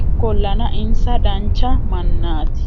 ikkollana insa dancha mannaati